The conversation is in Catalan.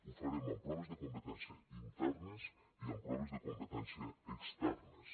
ho farem amb proves de competència internes i amb proves de competència externes